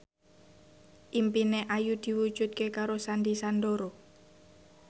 impine Ayu diwujudke karo Sandy Sandoro